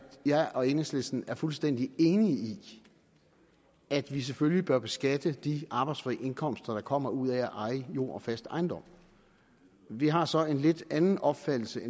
jeg og enhedslisten er fuldstændig enige i at vi selvfølgelig bør beskatte de arbejdsfri indkomster der kommer ud af at eje jord og fast ejendom vi har så en lidt anden opfattelse af